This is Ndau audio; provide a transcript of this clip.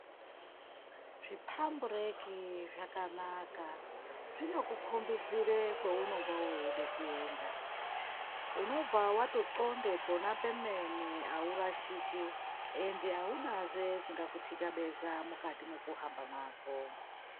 Zvipambureki zvakanaka, zvinokukombidzire kwounonga weide kuenda. Unobva wotoxonde pona pemene haurashiki, endi haunazve chingakutyabeza mukati mwekuhamba mwako.